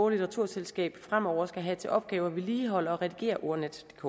og litteraturselskab fremover skal have til opgave at vedligeholde og redigere ordnetdk